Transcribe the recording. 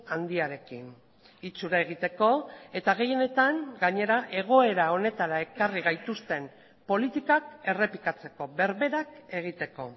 handiarekin itxura egiteko eta gehienetan gainera egoera honetara ekarri gaituzten politikak errepikatzeko berberak egiteko